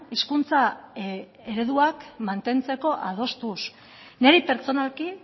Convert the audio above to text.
hizkuntza ereduak mantentzeko adostuz niri pertsonalki